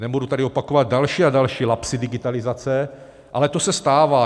Nebudu tady opakovat další a další lapsy digitalizace, ale to se stává.